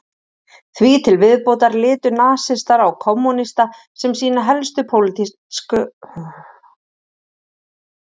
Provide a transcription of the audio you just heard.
því til viðbótar litu nasistar á kommúnista sem sína helstu pólitísku andstæðinga